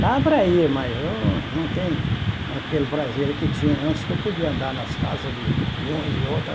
Dá para ir, mas eu não tenho aquele prazer que tinha antes, que eu podia andar nas casas de de um e de outro.